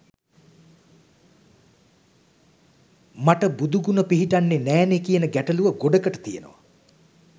මට බුදුගුණ පිහිටන්නේ නෑනේ කියන ගැටලුව ගොඩකට තියෙනවා.